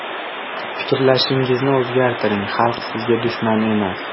Fikrlashingizni o‘zgartiring, xalq sizga dushman emas.